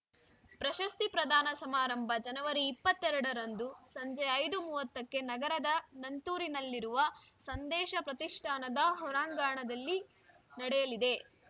ಪ್ರಶಸ್ತಿ ಪ್ರದಾನ ಸಮಾರಂಭ ಜನವರಿ ಇಪ್ಪತ್ತೆರಡರಂದು ಸಂಜೆ ಐದು ಮೂವತ್ತಕ್ಕೆ ನಗರದ ನಂತೂರಿನಲ್ಲಿರುವ ಸಂದೇಶ ಪ್ರತಿಷ್ಠಾನದ ಹೊರಾಂಗಣದಲ್ಲಿ ನಡೆಯಲಿದೆ